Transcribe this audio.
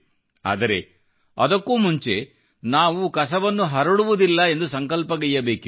ಆದರೆ ಅದಕ್ಕೂ ಮುಂಚೆ ನಾವು ಕಸವನ್ನು ಹರಡುವುದಿಲ್ಲ ಎಂದು ಸಂಕಲ್ಪಗೈಯ್ಯಬೇಕಿದೆ